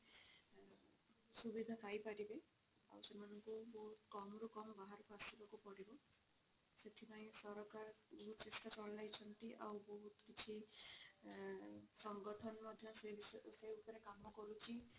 ସୁବିଧା ପାଇ ପାରିବେ ଆଉ ସେମାନଙ୍କୁ ବହୁତ କମ ରୁ କମ ବାହାରକୁ ଆସିବାକୁ ପଡିବ ସେଥିପାଇଁ ସରକାର ବହୁତ ଚେଷ୍ଟା ଚଳାଇଛନ୍ତି ଆଉ ବହୁତ କିଛି ସଂଗଠନ ମଧ୍ୟ ସେ ବିଷୟ ସେ ଉପରେ କାମ କରୁଛି